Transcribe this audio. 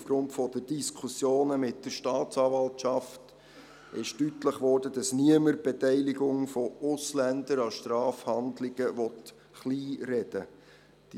Aufgrund der Diskussionen mit der Staatsanwaltschaft wurde deutlich, dass niemand die Beteiligung von Ausländern an Strafhandlungen kleinreden will.